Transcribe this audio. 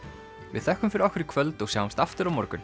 við þökkum fyrir okkur í kvöld og sjáumst aftur á morgun